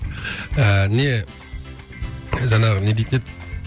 ыыы не жаңағы не дейтін еді